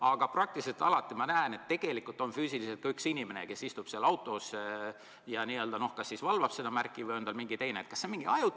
Aga peaaegu alati ma näen, et tegelikult on füüsiliselt ka inimene seal autos ja kas valvab seda märki või on tal mingi teine.